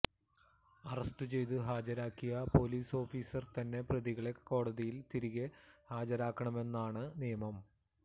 അറസ്റ്റുചെയ്ത് ഹാജരാക്കിയ police officer തന്നെ പ്രതികളെ കോടതിയിൽ തിരികെ ഹാജരാക്കണമെന്നാണ് നിയമം